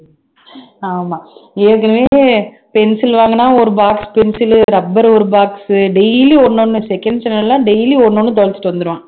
ஆமா ஏற்கனவே pencil வாங்குனா ஒரு box pencil உ rubber ஒரு box உ daily ஒண்ணு ஒண்ணு second standard எல்லாம் daily ஒண்ணு ஒண்ணு தொலைச்சிட்டு வந்துடுவான்